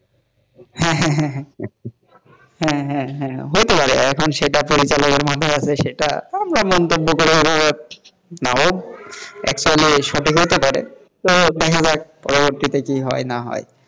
হ্যাঁ হ্যাঁ হ্যাঁ হ্যাঁ হ্যাঁ হ্যাঁহতে পারে এখন তো সেটা ট্রেইলার মধ্যে আছে সেটা মন্তব্য করে হলেও actually সঠিক হতে পারেতো দেখা যাক পরে পরবর্তীতে কি হয় বা না হয়,